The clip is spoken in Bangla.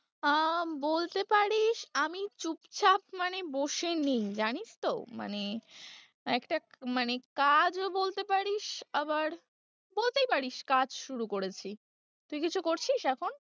আহ বলতে পারিস আমি চুপচাপ মানে বসে নেই জানিস তো? মানে একটা মানে কাজও বলতে পারিস আবার বলতেই পারিস কাজ শুরু করেছি, তুই কিছু করছিস এখন?